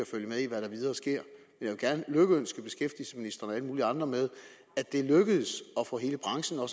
følge med i hvad der videre sker men jeg vil beskæftigelsesministeren og alle mulige andre med at det er lykkedes at få hele branchen og